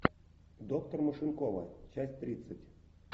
доктор машинкова часть тридцать